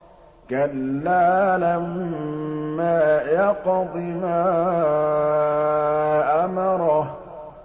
كَلَّا لَمَّا يَقْضِ مَا أَمَرَهُ